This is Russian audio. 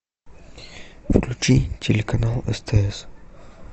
включи телеканал стс